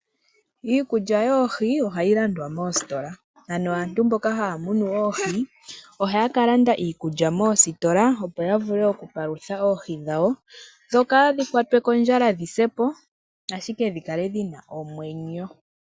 Iikulya yoohi ohayi landwa moositola. Ano aantu mboka haya munu oohi, ohaya ka landa iikulya moositola opo ya vule oku palutha oohi dhawo dho kaadhi kwatwe kondjala dhi sepo, ashike dhi kale dhi na omwenyo.